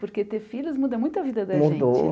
Porque ter filhos muda muito a vida da gente, mudou